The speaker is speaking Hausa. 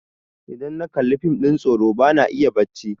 idan na Kalli fim ɗin tsoro ba na iya bacci